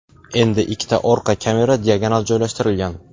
Endi ikkita orqa kamera diagonal joylashtirilgan.